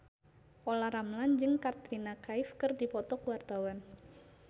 Olla Ramlan jeung Katrina Kaif keur dipoto ku wartawan